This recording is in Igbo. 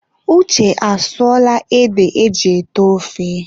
Uche asụọla ede eji ete ofe.